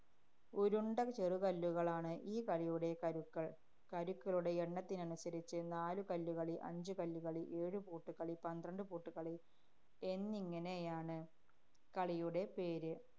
ഉരുണ്ട ചെറുകല്ലുകളാണ് ഈ കളിയുടെ കരുക്കള്‍. കരുക്കളുടെ എണ്ണത്തിനനുസരിച്ച് നാലു കല്ലുകളി, അഞ്ചുകല്ലുകളി, ഏഴു പൂട്ടുകളി, പന്ത്രണ്ടു പൂട്ടുകളി എന്നിങ്ങനെയാണ് കളിയുടെ പേര്.